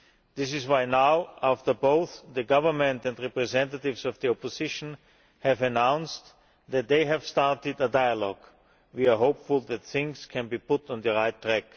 This is why now, after both the government and representatives of the opposition have announced that they have started a dialogue, we are hopeful that things can be put on the right track.